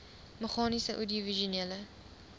meganies oudiovisuele